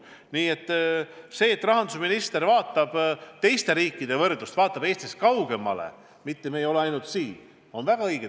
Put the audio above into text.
Nii et see, et rahandusminister vaatab teiste riikide olukorda, vaatab Eestist kaugemale, mitte ainult siinset pilti, on väga õige.